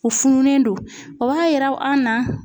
U fununen don o b'a yira an na